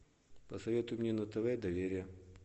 посоветуй мне на тв доверие